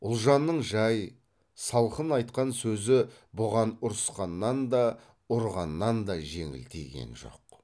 ұлжанның жай салқын айтқан сөзі бұған ұрысқаннан да ұрғаннан да жеңіл тиген жоқ